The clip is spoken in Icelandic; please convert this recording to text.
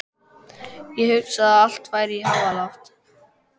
Ég hugsa að allt færi í háaloft.